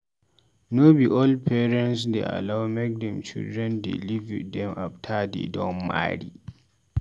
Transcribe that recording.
No be all parents dey allow make dem children dey live with dem after dey don marry.